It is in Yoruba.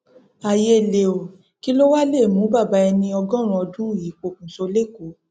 ayé lé o kí lọ wàá lè mú bàbá ẹni ọgọrin ọdún yìí pokùnṣọ lẹkọọ